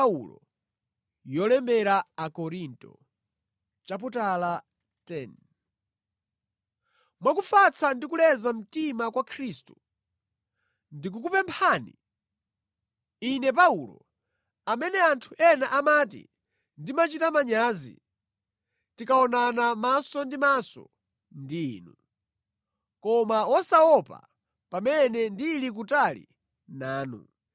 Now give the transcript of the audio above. Mwa kufatsa ndi kuleza mtima kwa Khristu, ndikukupemphani, ine Paulo amene anthu ena amati ndimachita manyazi tikaonana maso ndi maso ndi inu, koma wosaopa pamene ndili kutali nanu!